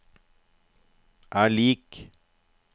er lik